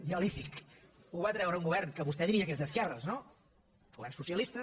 jo li dic ho va treure un govern que vostè diria que és d’esquerres no un govern socialista